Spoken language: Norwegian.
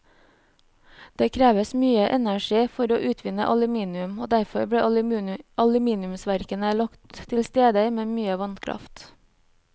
Det kreves mye energi for å utvinne aluminium, og derfor ble aluminiumsverkene lagt til steder med mye vannkraft.